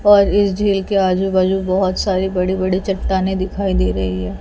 और इस झील के आजू बाजू बहोत सारे बड़े बड़े चट्टाने दिखाई दे रही है।